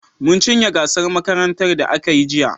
Mun cinye gasar makarantar da aka yi jiya.